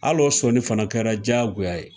Halo o sɔnni fana kɛra jagoya ye.